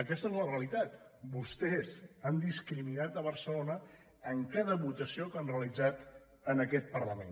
aquesta és la realitat vos·tès han discriminat barcelona en cada votació que han realitzat en aquest parlament